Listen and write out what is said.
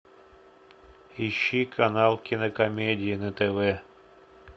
ищи канал кинокомедия на тв